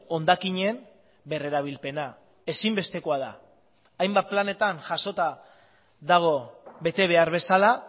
hondakinen berrerabilpena ezinbestekoa da hainbat planetan jasota dago betebehar bezala